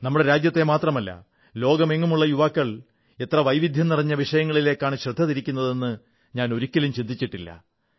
നമ്മുടെ രാജ്യത്തെ മാത്രമല്ല ലോകത്തെങ്ങുമുള്ള യുവാക്കൾ എത്ര വൈവിധ്യം നിറഞ്ഞ വിഷയങ്ങളിലേക്കാണ് ശ്രദ്ധ തിരിക്കുന്നതെന്ന് ഞാൻ ഒരിക്കലും ചിന്തിച്ചിട്ടില്ല